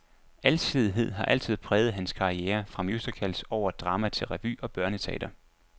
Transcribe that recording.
Alsidighed har altid præget hans karriere, fra musicals over drama til revy og børneteater.